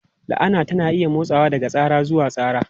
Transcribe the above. La'ana tana iya motsawa daga tsara zuwa tsara.